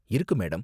இருக்கு மேடம்.